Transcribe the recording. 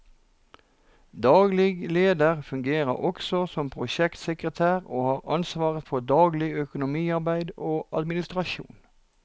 Daglig leder fungerer også som prosjektsekretær og har ansvaret for daglig økonomiarbeid og administrasjon.